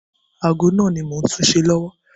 Ago náà ni mò ń túṣe lọ́wọ́.